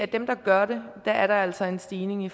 dem der gør det er der altså en stigning i